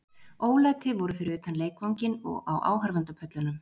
Ólæti voru fyrir utan leikvanginn og á áhorfendapöllunum.